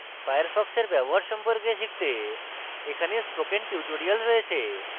firefox এর ব্যবহার সম্পর্কে শিখতে এখানে spoken tutorials রয়েছে